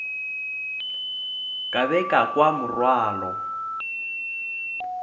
ka be ka kwa morwalo